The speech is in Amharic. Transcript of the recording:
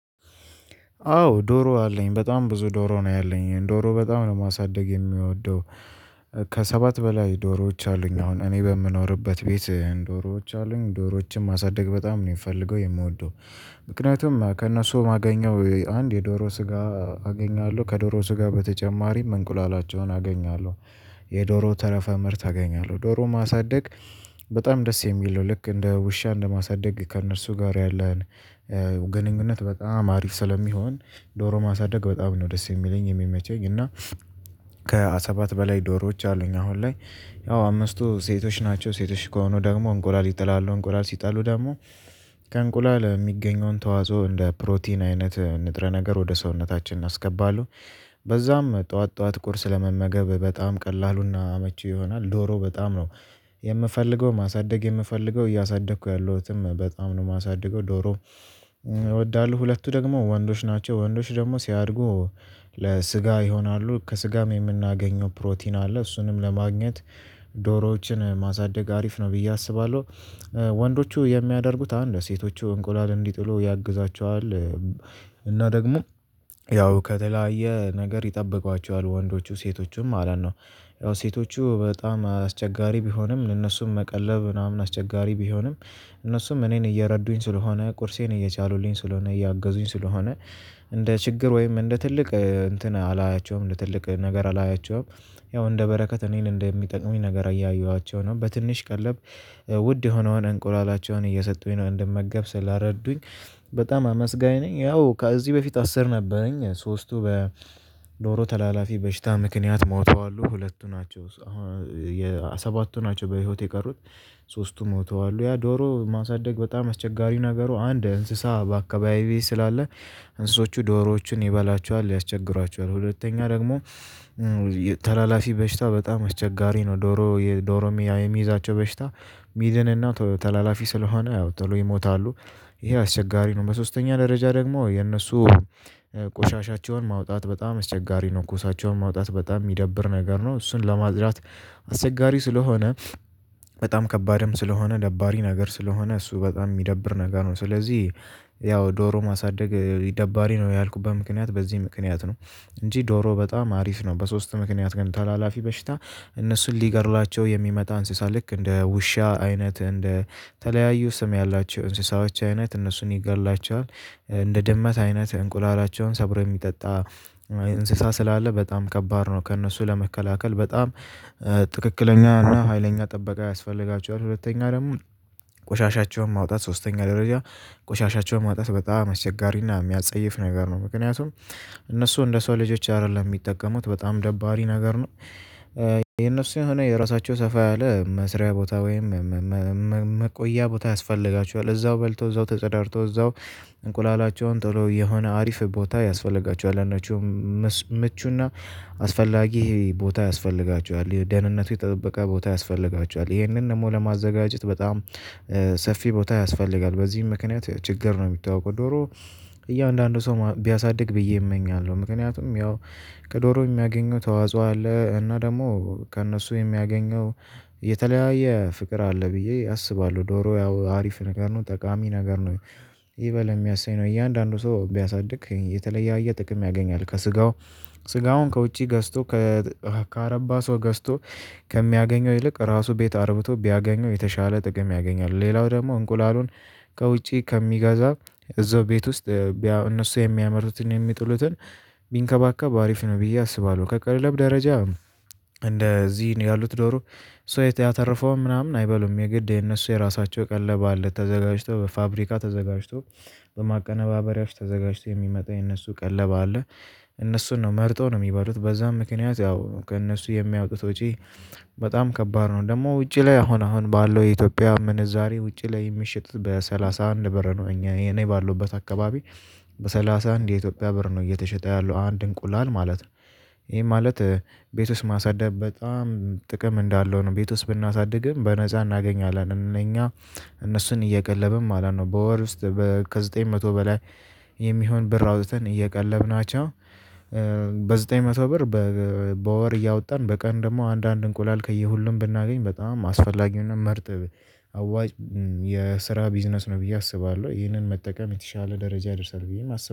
አዎ ዶሮ አለኝ በጣም ብዙ ዶሮ ነው ያለኝ ዶሮ በጣም ነው ማሳደግ የምወደው። ከሰባት በላይ ዶሮዎች አሉኝ አሁን እኔ በምኖርበት ቤት ዶሮዎች አሉኝ ዶሮዎችን ማሳደግ በጣም ነው የምፈልገው የምወደው። ምክንያቱም ከእነሱ የማገኘው አንድ የዶሮ ስጋ አገኛለሁ ከዶሮ ስጋ በተጨማሪም እንቁላላቸውን አገኛለሁ። የዶሮ ተረፈ ምርት አገኛለሁ ዶሮ ማሳደግ። በጣም ደስ የሚለው ልክ እንደ ውሻ እንደ ማሳደግ ከእነርሱ ጋር ያለን ግንኙነት በጣም አሪፍ ስለሚሆን። ዶሮ ማሳደግ በጣም ነው ደስ የሚለኝ የሚመቸኝ እና። ከሰባት በላይ ዶሮዎች አሉኝ አሁን ላይ። ያው አምስቱ ሴቶች ናቸው ሴቶች ከሆኑ ደግሞ እንቁላል ይጥላሉ እንቁላል ሲጣሉ ደግሞ ከእንቁላል የሚገኘውን ተዋጾ እንደ ፕሮቲን አይነት ንጥረ ነገር ወደ ሰውነታችን አናስገባለን። በዛም ጠዋት ጠዋት ቁርስ ለመመገብ በጣም ቀላሉና አመቺ ይሆናል ዶሮ በጣም ነው። የምፈልገው ማሳደግ የምፈልገው እያሳደግኩ ያለሁትም በጣም ነው የማሳድገው ዶሮ። እወዳለሁ ሁለቱ ደግሞ ወንዶች ናቸው ወንዶች ደግሞ ሲያድጉ ለስጋ ይሆናሉ ከስጋም የምናገኘው ፕሮቲን አለ እሱንም ለማግኘት። ዶሮዎችን ማሳደግ አሪፍ ነው ብዬ አስባለሁ። ወንዶቹ የሚያደርጉት አንድ ሴቶቹ እንቁላል እንዲጥሉ ያግዛችኋል። እና ደግሞ ያው ከተለያየ ነገር ይጠበቋችኋል ወንዶቹ ሴቶቹን ማለት ነው። ያው ሴቶቹ በጣም አስቸጋሪ ቢሆንም እነሱን መቀለብ ምናምን አስቸጋሪ ቢሆንም እነሱም እኔን እየረዱኝ ስለሆነ ቁርሴን እየቻሉልኝ ስለሆነ እያገዙኝ ስለሆነ። እንደ ችግር ወይም እንደ ትልቅ እንትን አላያቸውም እንደ ትልቅ ነገር አላያቸውም። ያው እንደ በረከት እኔን እንደሚጠቅሙኝ ነገር እያየኋቸው ነው በትንሽ ቀለብ ውድ የሆነውን እንቁላላቸውን እየሰጡኝ ነው እንደመገብ ስላረዱኝ። በጣም አመስጋኝ ነኝ። ያው ከዚህ በፊት አስር ነበረኝ ሶስቱ በዶሮ ተላላፊ በሽታ ምክንያት ሞተዋሉ ሁለቱ ናቸው አሁን ሰባቱ ናቸው በህይወት የቀሩት። ሶስቱ ሞተዋል ያ ዶሮ ማሳደግ በጣም አስቸጋሪው ነገሩ አንድ እንስሳ በአካባቢዬ ስላለ። እንስሶቹ ዶሮዎችን ይበላቸዋል ያስቸግሯቸዋል ሁለተኛ ደግሞ። ተላላፊ በሽታ በጣም አስቸጋሪ ነው ዶሮ ዶሮ የሚይዛቸው በሽታ። ሚድንና ተላላፊ ስለሆነ ያው ተሎ ይሞታሉ። ይሄ አስቸጋሪ ነው። በሶስተኛ ደረጃ ደግሞ የነሱ ቆሻሻቸውን ማውጣት በጣም አስቸጋሪ ነው ኩሳቸውን ማውጣት በጣም የሚደብር ነገር ነው እሱን ለማጽዳት። አስቸጋሪ ስለሆነ በጣም ከባድም ስለሆነ ደባሪ ነገር ስለሆነ እሱ በጣም የሚደብር ነገር ነው ስለዚህ። ያው ዶሮ ማሳደግ ደባሪ ነው ያልኩበት ምክንያት በዚህ ምክንያት ነው። እንጂ ዶሮ በጣም አሪፍ ነው። በሶስት ምክንያት ግን ተላላፊ በሽታ እነሱን ሊገድላቸው የሚመጣ እንስሳ ልክ እንደ ውሻ አይነት እንደ ተለያዩ ስም ያላቸው እንስሳዎች አይነት እነሱን ይገድላቸዋል። እንደ ድመት አይነት እንቁላላቸውን ሰብረው የሚጠጣ እንስሳ ስላለ በጣም ከባድ ነው። ከእነሱ ለመከላከል በጣም ትክክለኛ እና ሀይለኛ ጥበቃ ያስፈልጋቸዋል። ሁለተኛ ደግሞ ቆሻሻቸውን ማውጣት ሶስተኛ ደረጃ ቆሻሻቸውን ማውጣት በጣም አስቸጋሪና የሚያጸይፍ ነገር ነው። ምክንያቱም እነሱ እንደ ሰው ልጆች አይደለም የሚጠቀሙት በጣም ደባሪ ነገር ነው። የእነሱ የሆነ የራሳቸው ሰፋ ያለ መስሪያ ቦታ ወይም መቆያ ቦታ ያስፈልጋቸዋል እዛው በልቶ እዛው ተጸዳድተው እዛው እንቁላላቸውን ጥሎ የሆነ አሪፍ ቦታ ያስፈልጋቸዋል። አንዳችሁም ምቹና አስፈላጊ ቦታ ያስፈልጋቸዋል ደህንነቱ የተጠበቀ ቦታ ያስፈልጋቸዋል ይህንን ደግሞ ለማዘጋጀት በጣም ሰፊ ቦታ ያስፈልጋል። በዚህም ምክንያት ችግር ነው የሚታወቀው ዶሮ። እያንዳንዱ ሰው ቢያሳድግ ብዬ እመኛለሁ። ምክንያቱም ያው ከዶሮ የሚያገኘው ተዋጽኦ አለ እና ደግሞ ከእነሱ የሚያገኘው የተለያየ ፍቅር አለ ብዬ አስባለሁ። ዶሮ ያው አሪፍ ነገር ነው ጠቃሚ ነገር ነው። ይበል የሚያሰኝ ነው እያንዳንዱ ሰው ቢያሳድግ የተለያየ ጥቅም ያገኛል ከስጋው። ስጋውን ከውጪ ገዝቶ ከአረባ ሰው ገዝቶ ከሚያገኘው ይልቅ ራሱ ቤት አርብቶ ቢያገኘው የተሻለ ጥቅም ያገኛል። ሌላው ደግሞ እንቁላሉን ከውጪ ከሚገዛ እዛው ቤት ውስጥ እነሱ የሚያመርቱትን የሚጥሉትን ቢንከባከብ አሪፍ ነው ብዬ አስባለሁ። ከቀለብ ደረጃ እንደዚህ ነው ያሉት ዶሮ። ሰው የተረፈውን ምናምን አይበሉም የግድ የነሱ የራሳቸው ቀለብ አለ ተዘጋጅቶ በፋብሪካ ተዘጋጅቶ በማቀነባበሪያዎች ተዘጋጅቶ የሚመጣ የነሱ ቀለባ አለ። እነሱን ነው መርጠው ነው የሚባሉት በዛም ምክንያት ያው ከእነሱ የሚያወጡት ወጪ። በጣም ከባድ ነው ደግሞ ውጪ ላይ አሁን አሁን ባለው የኢትዮጵያ ምንዛሬ ውጪ ላይ የሚሸጥ በሰላሳ አንድ ብር ነው። እኛ እኔ ባለውበት አካባቢ በሰላሳ አንድ የኢትዮጵያ ብር ነው እየተሸጠ ያለው አንድ እንቁላል ማለት ነው። ይሄ ማለት ቤት ውስጥ ማሳደግ በጣም ጥቅም እንዳለው ነው። ቤት ውስጥ ብናሳድግ ግን በነፃ እናገኛለን እነኛ እነሱን እየቀለብን ማለት ነው በወር ውስጥ። ከዘጠኝ መቶ በላይ የሚሆን ብር አውጥተን እየቀለብናቸው። በዘጠኝ መቶ ብር በወር እያወጣን በቀን ደግሞ አንዳንድ እንቁላል ከየሁሉም ብናገኝ በጣም አስፈላጊውን መርጥ። አዋጭ የስራ ቢዝነስ ነው ብዬ አስባለሁ። ይሄንን መጠቀም የተሻለ ደረጃ ይደርሳል ብዬም አስባለሁ